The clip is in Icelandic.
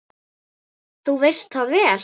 Þú veist það vel!